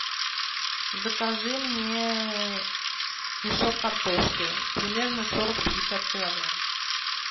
закажи мне мешок картошки примерно сорок пятьдесят килограмм